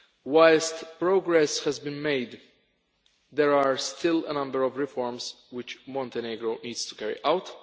Whilst progress has been made, there are still a number of reforms which Montenegro needs to carry out.